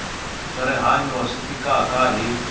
swa rihanyu xi fikaka hi